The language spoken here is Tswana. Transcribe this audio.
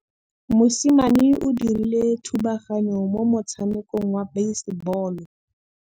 Mosimane o dirile thubaganyô mo motshamekong wa basebôlô.